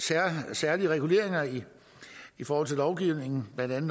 særlige reguleringer i i forhold til lovgivningen blandt andet